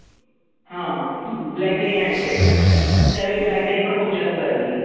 हा. BlackBerry handsets त्यावेळी BlackBerry पण खूप जास्त चालली.